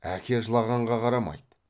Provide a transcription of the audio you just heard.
әке жылағанға қарамайды